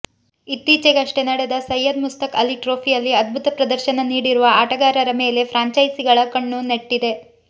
ಇತ್ತೀಚೆಗಷ್ಟೇ ನಡೆದ ಸಯ್ಯದ್ ಮುಸ್ತಕ್ ಅಲಿ ಟ್ರೋಫಿಯಲ್ಲಿ ಅದ್ಭುತ ಪ್ರದರ್ಶನ ನೀಡಿರುವ ಆಟಗಾರರ ಮೇಲೆ ಫ್ರಾಂಚೈಸಿಗಳ ಕಣ್ಣು ನೆಟ್ಟಿದೆ